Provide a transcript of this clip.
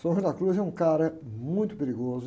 San Juan de la Cruz é um cara muito perigoso.